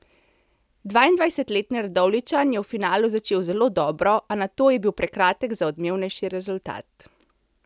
Dvaindvajsetletni Radovljičan je v finalu začel zelo dobro, a nato bil prekratek za odmevnejši rezultat.